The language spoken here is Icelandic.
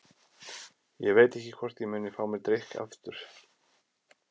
Ég veit ekki hvort ég muni fá mér drykk aftur.